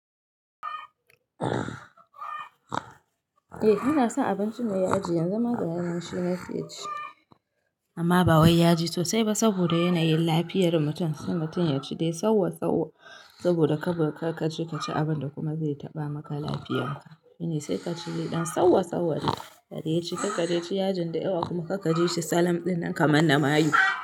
Eh, yana son abinci mai yaji, yanzu ma gaya nan shi nake ci, amma ba wai ya ji sosai ba saboda yanayin lafiyar mutum, sai mutum ya ci dai sauwa sauwa saboda karka je kaci abin da kuma zai taɓa maka lafiyarka. Sai ka ci dai ɗan sauwa sauwa dai, adai ci karka dai ci yajin da yawa kuma karka je shi salam ɗinnan kamar na mayu.